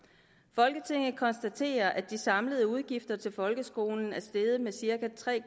folketinget konstaterer at de samlede udgifter til folkeskolen er steget med cirka tre